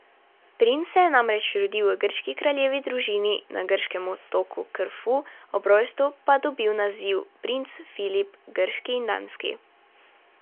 Princ se je namreč rodil v grški kraljevi družini, na grškem otoku Krfu, ob rojstvu pa dobil naziv princ Filip grški in danski.